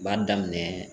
N b'a daminɛ